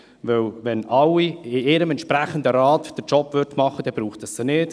Wenn alle in ihrem entsprechenden Rat ihre Arbeit machen würden, dann bräuchte es sie nicht.